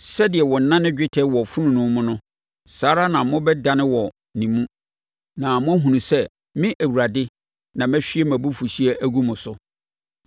Sɛdeɛ wɔnane dwetɛ wɔ fononoo mu no, saa ara na mobɛnane wɔ ne mu na moahunu sɛ me Awurade na mahwie mʼabufuhyeɛ agu mo so.’ ”